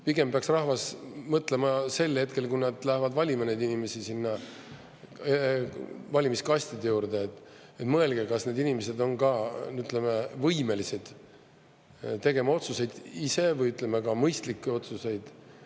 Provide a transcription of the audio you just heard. Pigem peaks rahvas mõtlema sel hetkel, kui nad lähevad valima neid inimesi sinna valimiskastide juurde: mõelge, kas need inimesed on võimelised tegema otsuseid ise või mõistlikke otsuseid.